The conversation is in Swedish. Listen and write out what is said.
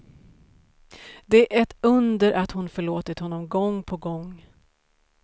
Det är ett under att hon förlåtit honom gång på gång.